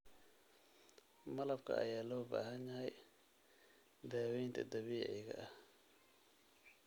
Malabka ayaa loo baahan yahay daawaynta dabiiciga ah.